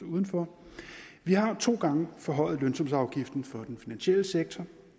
uden for vi har to gange forhøjet lønsumsafgiften for den finansielle sektor